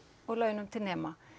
og laun til nema